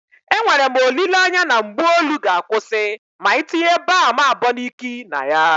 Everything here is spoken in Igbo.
Enwere m olile anya na mgbu olu ga-akwụsị ma ị tinye balm Aboniki na ya.